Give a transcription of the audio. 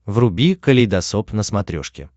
вруби калейдосоп на смотрешке